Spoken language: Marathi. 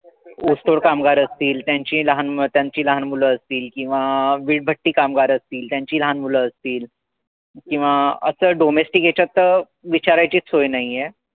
ऊसतोड कामगार असतील. त्यांचीही लहान मुलं त्यांचीही लहान मुलं असतील. किंवा वीजभट्टी कामगार असतील. त्यांचीही लहान मुलं असतील. किंवा असं domestic यांच्यात त विचारायचीच सोया नाहीये.